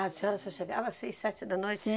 Ah, a senhora só chegava às seis, sete da noite?